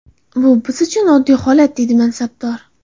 Bu biz uchun oddiy holat”, dedi mansabdor.